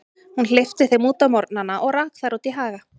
Hún hleypti þeim út á morgnana og rak þær í haga.